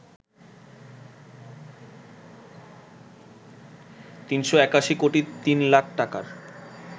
৩৮১ কোটি ৩ লাখ টাকার